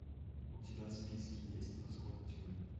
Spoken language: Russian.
у тебя в списке есть восход тьмы